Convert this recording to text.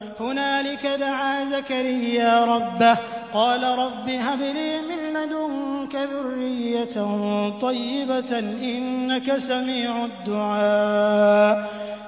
هُنَالِكَ دَعَا زَكَرِيَّا رَبَّهُ ۖ قَالَ رَبِّ هَبْ لِي مِن لَّدُنكَ ذُرِّيَّةً طَيِّبَةً ۖ إِنَّكَ سَمِيعُ الدُّعَاءِ